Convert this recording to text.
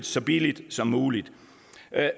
så billigt som muligt